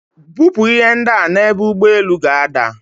Bupu ihe ndia n'ebu ugboelu ga-ada.